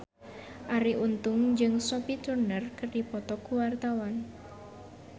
Arie Untung jeung Sophie Turner keur dipoto ku wartawan